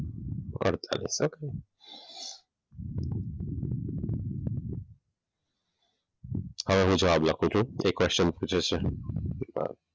હવે હું જવાબ લખું છું. એ જે question પુછે છે.